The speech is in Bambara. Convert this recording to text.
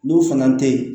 N'o fana tɛ ye